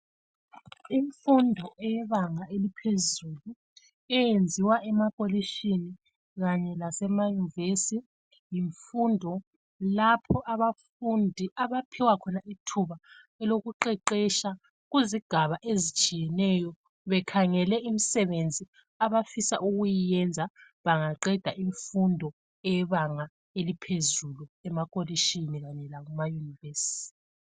Imfundo yebanga eliphezulu eyenziwa emakolitshini kanye lasema yunivesi yimfundo lapho abafundi abaphiwa khona ithuba elokuqeqetsha kuzigaba ezitshiyeneyo bekhangele imsebenzi abafisa ukuyenza bangaqeda imfundo yebanga eliphezulu emakolitshoni kanye lasema yunivesi.